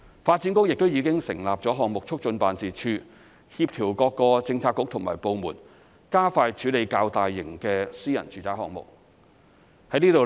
發展局亦已經成立項目促進辦事處，協調各個政策局和部門，加快處理較大型的私人住宅項目。